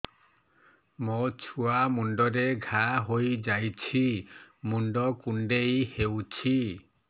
ମୋ ଛୁଆ ମୁଣ୍ଡରେ ଘାଆ ହୋଇଯାଇଛି ମୁଣ୍ଡ କୁଣ୍ଡେଇ ହେଉଛି